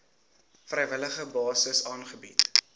vrywillige basis aangebied